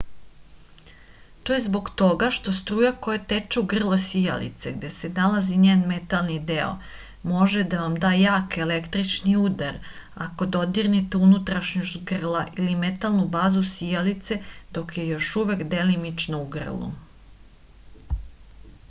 to je zbog toga što struja koja teče u grlo sijalice gde se nalazi njen metalni deo može da vam da jak električni udar ako dodirnete unutrašnjost grla ili metalnu bazu sijalice dok je još uvek delimično u grlu